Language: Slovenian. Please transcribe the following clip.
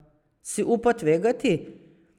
Si upa tvegati?